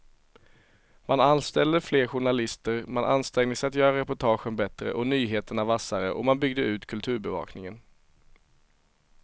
Man anställde fler journalister, man ansträngde sig att göra reportagen bättre och nyheterna vassare och man byggde ut kulturbevakningen.